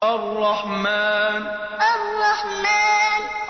الرَّحْمَٰنُ الرَّحْمَٰنُ